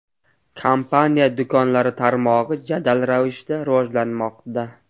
Kompaniya do‘konlari tarmog‘i jadal ravishda rivojlanmoqda.